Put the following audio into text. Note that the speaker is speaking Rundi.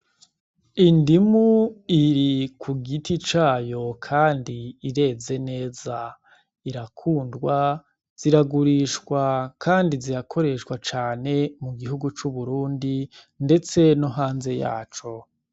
Indimu iri ku giti cayo, kandi ireze neza irakundwa ziragurishwa, kandi zirakoreshwa cane mu gihugu c'uburundi, ndetse no hanze yaco.